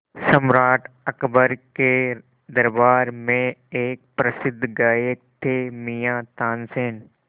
सम्राट अकबर के दरबार में एक प्रसिद्ध गायक थे मियाँ तानसेन